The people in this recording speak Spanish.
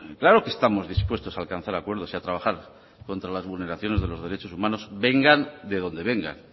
claro que estamos dispuestos a alcanzar acuerdos y a trabajar contra las vulneraciones de los derechos humanos vengan de donde vengan